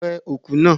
Wẹ òkú náà!